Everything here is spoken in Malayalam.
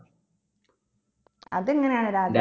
അതെങ്ങനെയാണ് രാജ